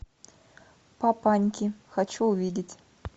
папаньки хочу увидеть